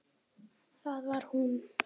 Það var hún.